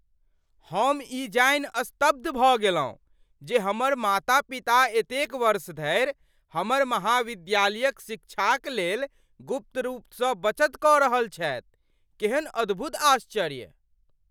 हम ई जानि स्तब्ध भऽ गेलहुँ जे हमर माता पिता एतेक वर्ष धरि हमर महाविद्यालयक शिक्षाक लेल गुप्त रूपसँ बचत कऽ रहल छथि। केहेन अद्भुत आश्चर्य!